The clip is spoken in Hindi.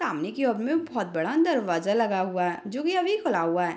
सामने की ओर मे बहुत बड़ा दरवाजा लगा हुआ है जो की अभी खुला हुआ है ।